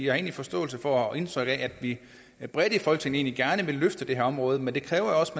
har egentlig forståelse for og indtryk af at vi bredt i folketinget gerne vil løfte det her område men det kræver jo også at